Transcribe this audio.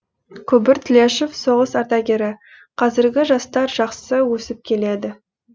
күбір тлешов соғыс ардагері қазіргі жастар жақсы өсіп келеді